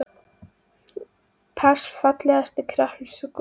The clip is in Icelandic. pass Fallegasta knattspyrnukonan?